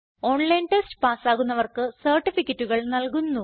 online test പാസ്സാകുന്നവർക്ക് സർട്ടിഫികറ്റുകൾ നല്കുന്നു